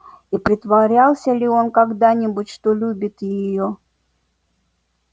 и притворялся ли он когда-нибудь что любит её